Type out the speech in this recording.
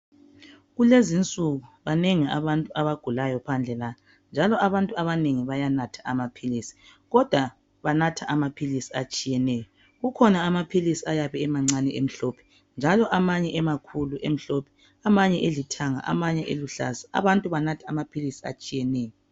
Kulezi insuku banengi abantu abagulayo phandle lapha njalo abantu abanengi bayanatha amaphilisi kodwa banatha amaphilisi atshiyeneyo. Kukhona amaphilisi ayabe emancane emhlophe njalo amanye emakhulu emhlophe, amanye elithanga, amanye eluhlaza. Abantu banatha amaphilisi atshiyeneyo.